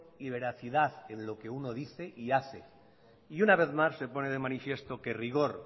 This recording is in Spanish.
y veracidad en lo que uno dice y hace y una vez más se pone de manifiesto que rigor